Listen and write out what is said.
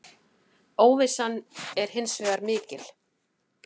Óvissan er hins vegar mikil.